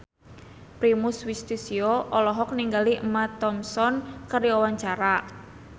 Primus Yustisio olohok ningali Emma Thompson keur diwawancara